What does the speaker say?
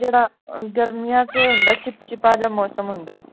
ਜਿਹੜਾ ਗਰਮੀਆਂ ਦੇ ਵਿਚ ਹੁੰਦਾ ਹੈ ਚਿਪਚਿਪਾ ਜਿਹਾ ਮੌਸਮ ਹੁੰਦਾ ਹੈ